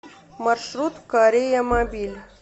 маршрут кореямобиль